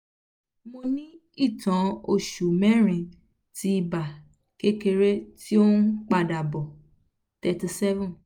mo ní ìtàn oṣù merin ti ibà kékeré í ó ń padà bọ̀ thirty seven